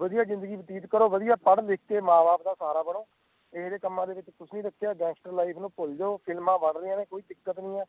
ਵਦਿਹਾ ਜ਼ਿੰਦਗੀ ਵਤੀਤ ਕਰੋ ਤੇ ਮਾਂ ਬਾਪ ਦਾ ਸਹਾਰਾ ਬਣੋ ਇਹੋ ਜੇ ਕੰਮਾਂ ਚ ਕੁੱਛ ਨਹੀਂ ਰਕੇਆ ਗੈਂਗਸਟਰ ਲਾਈਫ ਨੂੰ ਭੁੱਲ ਜੋ ਫ਼ਿਲਮਾਂ ਬਣ ਰਹੀਆਂ ਨੇ ਕੋਈ ਦਿੱਕਤ ਨਹੀਂ ਹੈ